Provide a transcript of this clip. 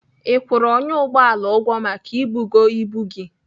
Ị kwụrụ ọnyà ụgbọala ụgwọ maka ibugo ibu gị?